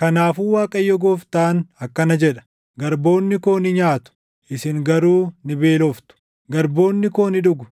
Kanaafuu Waaqayyo Gooftaan akkana jedha: “Garboonni koo ni nyaatu; isin garuu ni beeloftu; garboonni koo ni dhugu;